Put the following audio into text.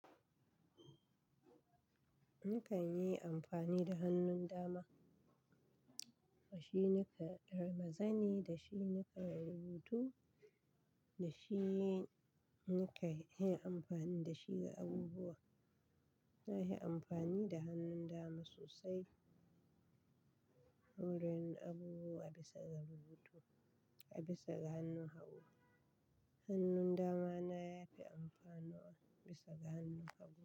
Ni kan yi amfani da hannun dama. Da shi nika ɗora zanni, da shi nika rubutu, da shi nika yi amfani da shi ga abubuwa. Sai inyi amfani da hannun dama sosai, wurin abubuwa a bisa ga rubutu, a bisa ga hannun hagu. Hannun dama na ya fi amfaniwa bisa ga hannun hagu.